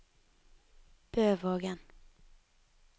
Bøvågen